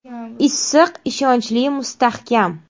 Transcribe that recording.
“Issiq, ishonchli, mustahkam!”.